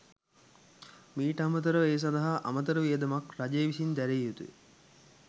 මීට අමතරව ඒ සඳහා අමතර වියදමක් රජය විසින් දැරිය යුතුය.